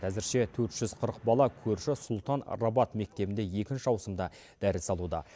әзірше төрт жүз қырық бала көрші сұлтан рабат мектебінде екінші ауысымда дәріс алуда